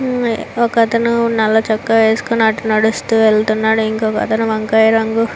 ఒక అతను నల్ల చొక్కా వేసుకొని అటు నడుస్తూ వెళ్తున్నాడు ఇంకొక అతను వంకాయ రంగు --